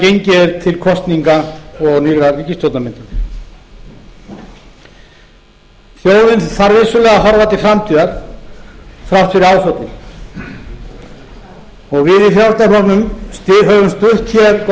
gengið er til kosninga og nýrrar ríkisstjórnarmyndunar þjóðin þarf vissulega að horfa til framtíðar þrátt fyrir áföllin og við í frjálslynda flokknum höfum stutt hér góð mál inni